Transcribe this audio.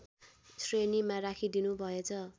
श्रेणीमा राखिदिनुभएछ